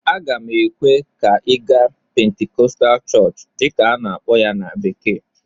Aga m ekwe ka ị gaa "Pentecostal Church" dịka a na-akpọ ya na bekee